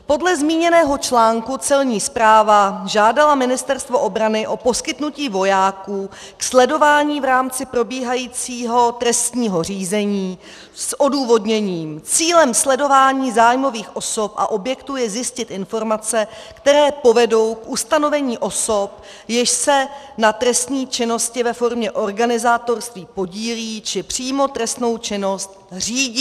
Podle zmíněného článku Celní správa žádala Ministerstvo obrany o poskytnutí vojáků k sledování v rámci probíhajícího trestního řízení s odůvodněním: Cílem sledování zájmových osob a objektů je zjistit informace, které povedou k ustanovení osob, jež se na trestné činnosti ve formě organizátorství podílejí či přímo trestnou činnost řídí.